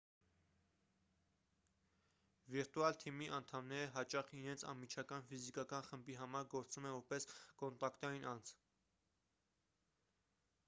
վիրտուալ թիմի անդամները հաճախ իրենց անմիջական ֆիզիկական խմբի համար գործում են որպես կոնտակտային անձ